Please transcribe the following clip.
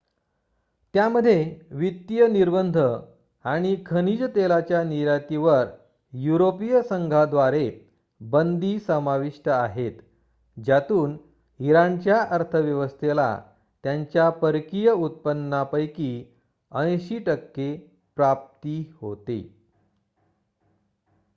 त्यामध्ये वित्तीय निर्बंध आणि खनिज तेलाच्या निर्यातीवर युरोपिय संघाद्वारे बंदी समाविष्ट आहेत ज्यातून इराणच्या अर्थव्यवस्थेला त्यांच्या परकीय उत्पन्नापैकी 80% प्राप्ती होते